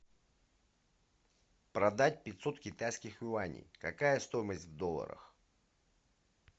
продать пятьсот китайских юаней какая стоимость в долларах